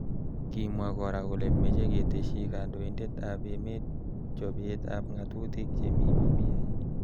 Kimwa kora kole meche keteshi kandoindet ab emet chobet ab ngatutik chemi BBI.